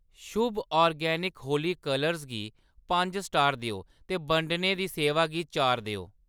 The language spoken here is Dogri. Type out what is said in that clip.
शुभ ऑर्गेनिक होली कलर्स गी पंज स्टार देओ ते बंडने दी सेवा गी चार देओ।